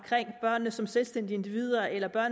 børnene som selvstændige individer eller